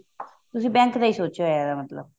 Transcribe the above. ਤੁਸੀਂ bank ਦਾ ਹੀ ਸੋਚਿਆ ਹੋਇਆ ਇਹਦਾ ਮਤਲਬ